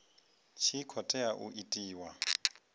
tshi khou tea u itiwa